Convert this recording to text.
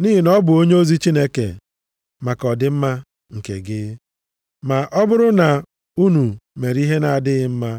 Nʼihi na ọ bụ onyeozi Chineke maka ọdịmma nke gị, ma ọ bụrụ na unu mere ihe na-adịghị mma,